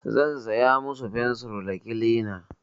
Zan saya musu fensir da kilina.